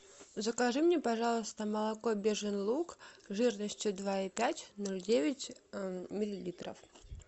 закажи мне пожалуйста молоко бежин луг жирностью два и пять ноль девять миллилитров